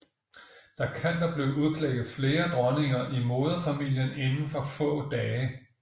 Der kan dog blive udklækket flere dronninger i moderfamilien inden for få dage